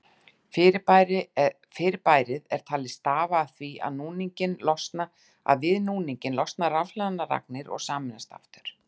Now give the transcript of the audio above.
Fyrirbærið er talið stafa af því að við núninginn losna rafhlaðnar agnir og sameinast aftur.